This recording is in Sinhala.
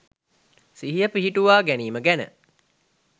සිහිය පිහිටුවාගැනීම ගැන